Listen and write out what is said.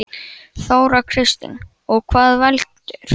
Þóra Kristín: Og hvað veldur?